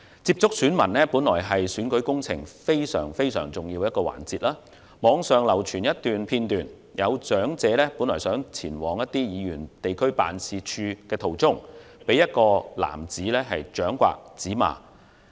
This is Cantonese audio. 接觸選民本來是選舉工程非常重要的一環，但網上流傳片段，有長者在前往議員地區辦事處途中，被一名男子掌摑、指罵。